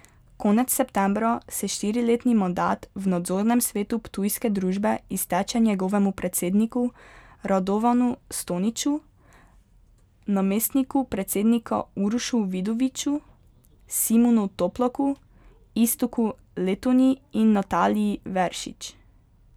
Konec septembra se štiriletni mandat v nadzornem svetu ptujske družbe izteče njegovemu predsedniku Radovanu Stoniču, namestniku predsednika Urošu Vidoviču, Simonu Toplaku, Iztoku Letonji in Nataliji Veršič.